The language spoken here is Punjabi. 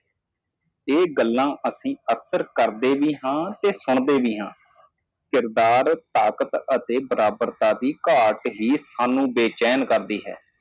ਅਸੀਂ ਅਕਸਰ ਇਹ ਗੱਲਾਂ ਕਰਦੇ ਅਤੇ ਸੁਣਦੇ ਹਾਂ। ਅੱਖਰ ਦੀ ਤਾਕਤ ਅਤੇ ਬਰਾਬਰ ਕੀ ਹਮਲਾ ਸਾਨੂੰ ਬੇਚੈਨ ਕਰਦਾ ਹੈ